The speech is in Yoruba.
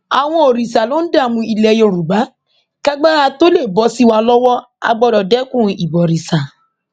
àwọn òrìṣà ló ń dààmú ilẹ yorùbá kágbára tóo lè bọ sí wa lọwọ á gbọdọ dẹkun ìbọrìṣà